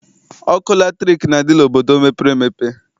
Ọkụ latrik na-adị n'obodo mepere emepe.